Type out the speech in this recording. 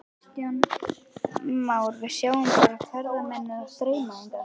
Kristján Már: Við sjáum bara ferðamennina streyma hingað?